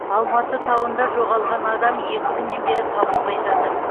алматы тауында жоғалған адам екі күннен бері табылмай жатыр